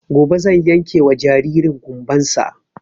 Gobe zan yanke wa jaririn ƙumban sa